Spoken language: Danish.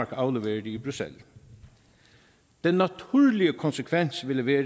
afleverede i bruxelles den naturlige konsekvens ville være